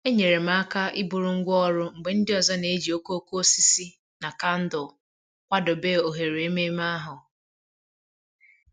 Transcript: Enyere m aka iburu ngwá ọrụ mgbe ndị ọzọ na-eji okooko osisi na kandụl kwadebe oghere ememe ahụ